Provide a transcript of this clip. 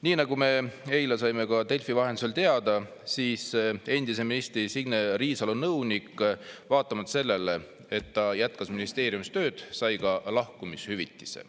Nii, nagu me eile saime ka Delfi vahendusel teada, siis endise ministri Signe Riisalo nõunik, vaatamata sellele, et ta jätkas ministeeriumis tööd, sai ka lahkumishüvitise.